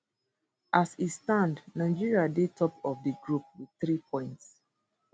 as e stand nigeria dey top of di group wit three points